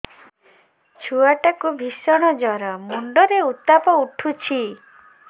ଛୁଆ ଟା କୁ ଭିଷଣ ଜର ମୁଣ୍ଡ ରେ ଉତ୍ତାପ ଉଠୁଛି